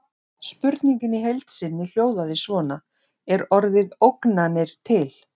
Spurningin í heild sinni hljóðaði svona: Er orðið ógnanir til?